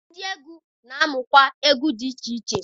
Ndị egwu na-amụ ngwa egwu dị iche iche